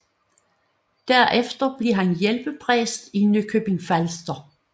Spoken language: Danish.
Derefter blev han hjælpepræst i Nykøbing Falster